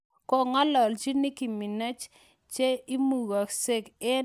kangalalji Nicky Minaj che imumunyse en Twitter nenyin kole: �kasakseng sautisiekyag�